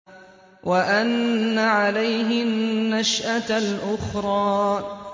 وَأَنَّ عَلَيْهِ النَّشْأَةَ الْأُخْرَىٰ